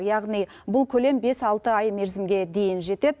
яғни бұл көлем бес алты ай мерзімге дейін жетеді